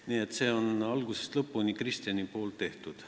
Nii et see on algusest lõpuni Kristjani tehtud.